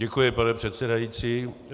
Děkuji, pane předsedající.